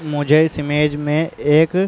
मुझे इस इमेज में एक --